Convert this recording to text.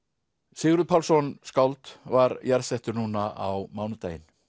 Sigurður Pálsson skáld var jarðsettur núna á mánudaginn